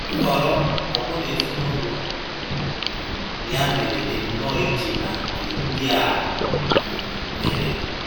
Nhọrọ Okwor na ezinụlọ um ya mere dị nnọọ iche na nke ndị a um mere